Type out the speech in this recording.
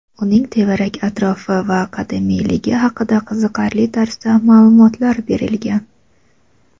uning tevarak-atrofi va qadimiyligi haqida qiziqarli tarzda ma’lumotlar berilgan.